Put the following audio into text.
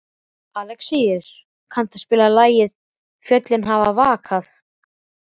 Alexíus, kanntu að spila lagið „Fjöllin hafa vakað“?